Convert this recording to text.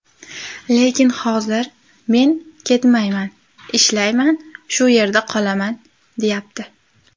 Lekin hozir ‘men ketmayman, ishlayman, shu yerda qolaman’, deyapti.